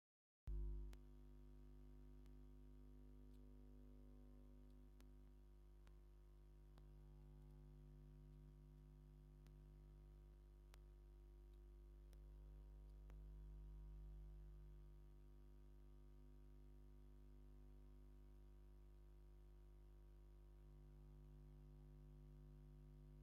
እዚ ሓንቲ መንእሰይ ኣደ ኣብ ቅድሚትደው ኢላ ከምዘላ ዘርኢ እዩ። ሕብራዊ ክዳን ተኸዲና፡ ገጻ ቀሊል ህሞት ሓልዮት ዘርኢ እዩ። ኣብ ሕቖኣ ዓቢ “ዋይ” ዝብል ዝተጻሕፈ ቃላትን ኣሎ። እዚ ምስሊ ዘመሓላልፎ መልእኽቲ እንታይ ይመስለኩም?